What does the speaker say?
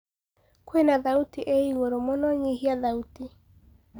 kwĩna thaũtĩĩĩ ĩgũrũ mũno nyĩhĩa thaũtĩ